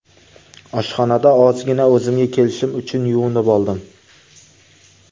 Oshxonada ozgina o‘zimga kelishim uchun yuvinib oldim.